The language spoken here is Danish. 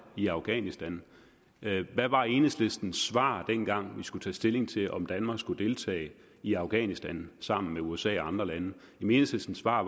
i afghanistan hvad var enhedslistens svar dengang vi skulle tage stilling til om danmark skulle deltage i afghanistan sammen med usa og andre lande enhedslistens svar